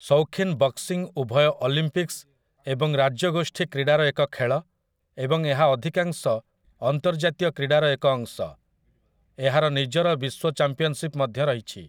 ସୌଖୀନ boxing ଉଭୟ Olympics ଏବଂ ରାଜ୍ୟଗୋଷ୍ଠୀ କ୍ରୀଡ଼ାର ଏକ ଖେଳ ଏବଂ ଏହା ଅଧିକାଂଶ ଅନ୍ତର୍ଜାତୀୟ କ୍ରୀଡ଼ାର ଏକ ଅଂଶ । ଏହାର ନିଜର ବିଶ୍ୱ ଚମ୍ପିଅନସିପ୍ ମଧ୍ୟ ରହିଛି ।